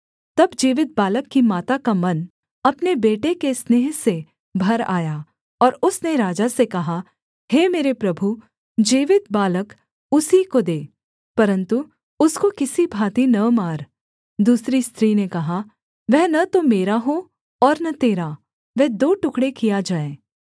तब जीवित बालक की माता का मन अपने बेटे के स्नेह से भर आया और उसने राजा से कहा हे मेरे प्रभु जीवित बालक उसी को दे परन्तु उसको किसी भाँति न मार दूसरी स्त्री ने कहा वह न तो मेरा हो और न तेरा वह दो टुकड़े किया जाए